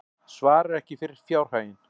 Svarar ekki fyrir fjárhaginn